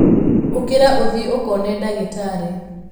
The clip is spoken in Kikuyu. ũkĩra ũthiĩũkone dagĩtarĩ.